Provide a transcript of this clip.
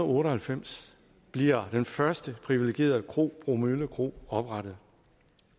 otte og halvfems bliver den første privilegerede kro bromølle kro oprettet